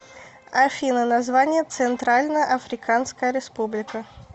афина название центральноафриканская республика